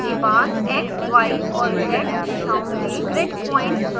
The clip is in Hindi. इसके बाद x y और z दिशाओं में ग्रिड पॉइंट्स प्रविष्ट करें